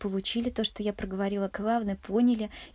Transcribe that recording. получили то что я проговорила главное поняли